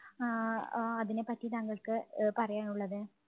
ആഹ് ആ അതിനെപ്പറ്റി താങ്കൾക്ക് അഹ് പറയാനുള്ളത്?